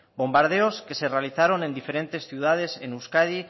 bombardeos que se realizaron en diferentes ciudades en euskadi